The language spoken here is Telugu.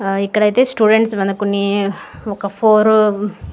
ఇక్కడ ఐతే స్టూడెంట్స్ వెనకొన్ని ఒక ఫోరు --